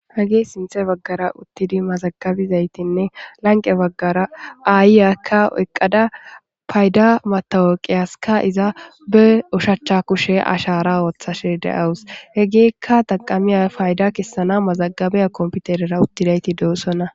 Hagi sinthe baggara uttidi mazagabizaytinne lanqe baggara aayyakka eqqada payda matawoqiyaska iza be ushachcha kushe ashara ooththashe de'awus he gikka taqamiya payda kessana mazagabiya komputerera uttidayti doossona.